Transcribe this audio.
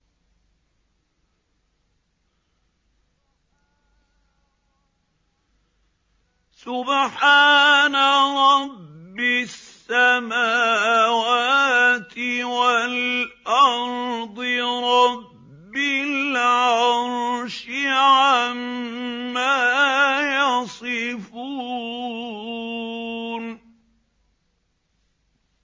سُبْحَانَ رَبِّ السَّمَاوَاتِ وَالْأَرْضِ رَبِّ الْعَرْشِ عَمَّا يَصِفُونَ